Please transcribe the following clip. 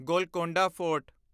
Golconda fort